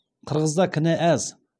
қырғызда кінә аз